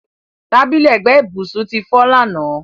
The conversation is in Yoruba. Tábìlì ẹgbẹ́ ìbùsùn ti fọ́ lánàá.